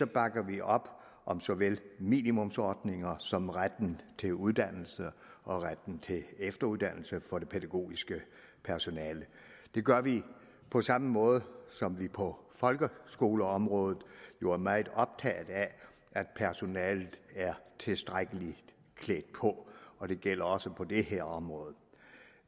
bakker vi op om såvel minimumsnormeringer som retten til uddannelse og retten til efteruddannelse for det pædagogiske personale det gør vi på samme måde som vi på folkeskoleområdet jo er meget optaget af at personalet er tilstrækkeligt klædt på og det gælder også på det her område